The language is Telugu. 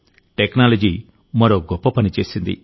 టెక్నాలజీ మరో గొప్ప పని చేసింది